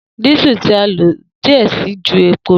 Diesel ti a lo diẹ sii ju epo lọ.